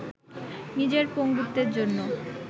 নিজের পঙ্গুত্বের জন্য